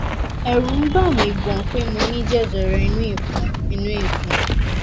ẹrù n bà mi gan pé mo ní jẹjẹrẹ inú ìfun inú ìfun